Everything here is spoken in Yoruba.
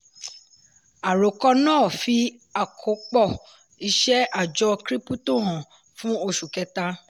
àròkọ náà fi àkópọ̀ iṣẹ́ àjọ krípútò hàn fún oṣù kẹta.